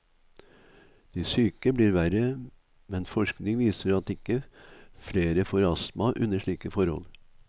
De syke blir verre, men forskning viser at ikke flere får astma under slike forhold.